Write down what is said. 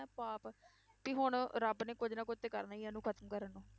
ਪਾਪ ਵੀ ਹੁਣ ਰੱਬ ਨੇ ਕੁੱਝ ਨਾ ਕੁੱਝ ਤੇ ਕਰਨਾ ਹੀ ਆ, ਇਹਨੂੰ ਖ਼ਤਮ ਕਰਨ ਨੂੰ।